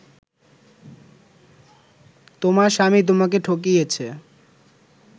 তোমার স্বামী তোমাকে ঠকিয়েছে